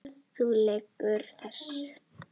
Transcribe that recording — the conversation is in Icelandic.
Þú lýgur þessu!